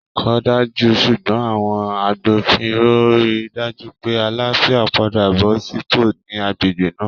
Kò dájú, ṣùgbọ́n àwọn agbófinró á rí i dájú pé àlàáfíà padà bọ́ sípò ní agbègbè náà